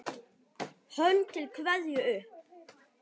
Hönd til kveðju upp!